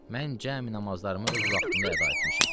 Mən cəmi namazlarımı öz vaxtında əda etmişəm.